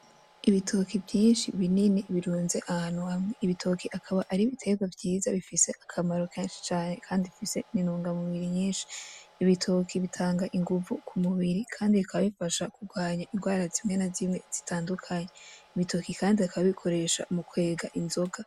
Ibitoki vyinshi binini birunze ahantu hamwe, ibitoki akaba ari ibitegwa vyiza bifise akamaro kenshi cane kandi gifise intungamubiri nyinshi, ibitoki bitanga inguvu ku mubiri kandi bikaba bifasha kurwanya indwara zimwe na zimwe zitandukanye, ibitoke kandi bakaba babikoresha mu kwega inzoga.